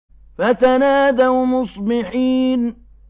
فَتَنَادَوْا مُصْبِحِينَ